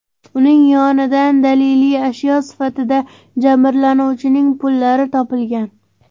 Uning yonidan daliliy ashyo sifatida jabrlanuvchining pullari topilgan.